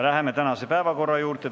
Läheme tänase päevakorra juurde.